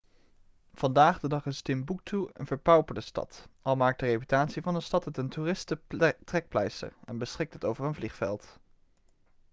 vandaag de dag is timboektoe een verpauperde stad al maakt de reputatie van de stad het een toeristentrekpleister en beschikt het over een vliegveld